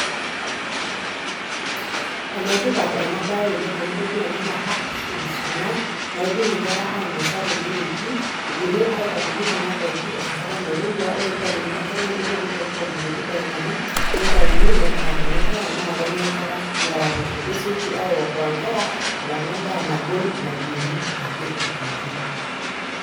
Ene tipat ena baye oleng' amu itodua ena naa packed foods kuna naidim nkera ainosa te leleki, idimi aitodoiki kuna daiki enkare nairowua, ore piitadoikini enkare nairowua nitokitok irkuti daikani nitayuni nepikakini nkera naake enya nkera neraposho. Kesioki aiokoa nkera alang'u endaa nagol nayieri ake aitoki.